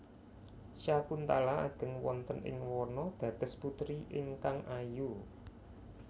Syakuntala ageng wonten ing wana dados putri ingkang ayu